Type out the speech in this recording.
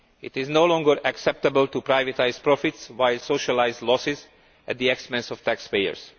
It is no longer acceptable to privatise profits via socialised losses at the expense of taxpayers.